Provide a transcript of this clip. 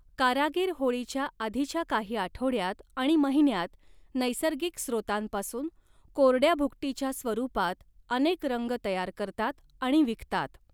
कारागीर होळीच्या आधीच्या काही आठवड्यात आणि महिन्यांत नैसर्गिक स्त्रोतांपासून कोरड्या भुकटीच्या स्वरूपात अनेक रंग तयार करतात आणि विकतात.